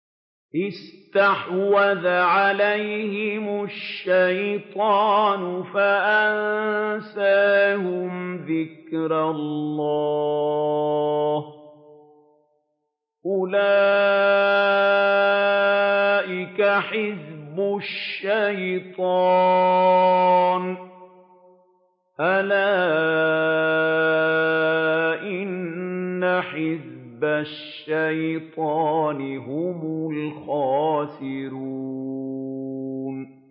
اسْتَحْوَذَ عَلَيْهِمُ الشَّيْطَانُ فَأَنسَاهُمْ ذِكْرَ اللَّهِ ۚ أُولَٰئِكَ حِزْبُ الشَّيْطَانِ ۚ أَلَا إِنَّ حِزْبَ الشَّيْطَانِ هُمُ الْخَاسِرُونَ